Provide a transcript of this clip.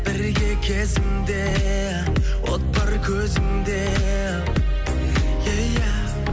бірге кезіңде от бар көзіңде